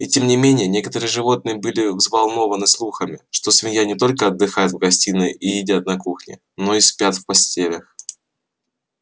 и тем не менее некоторые животные были взволнованы слухами что свинья не только отдыхает в гостиной и едят на кухне но и спят в постелях